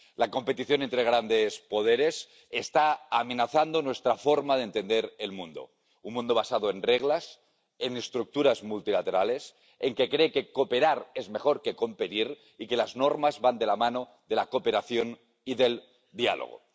La competición entre grandes poderes está amenazando nuestra forma de entender el mundo un mundo basado en reglas, en estructuras multilaterales, que cree que cooperar es mejor que competir y que las normas van de la mano de la cooperación y del diálogo.